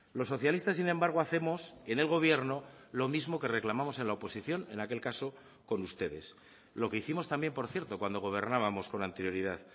los socialistas sin embargo hacemos en el gobierno lo mismo que reclamamos en la oposición en aquel caso con ustedes lo que hicimos también por cierto cuando gobernábamos con anterioridad